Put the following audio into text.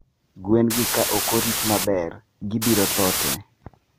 Gwen gi ka okorit maber gi biro tho tee.